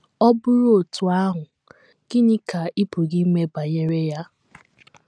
Ọ bụrụ otú ahụ, gịnị ka ị pụrụ ime banyere ya?